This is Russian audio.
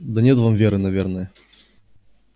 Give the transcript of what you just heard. да нет там веры наверное